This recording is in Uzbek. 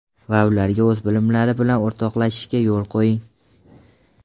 Va ularga o‘z bilimlari bilan o‘rtoqlashishiga yo‘l qo‘ying.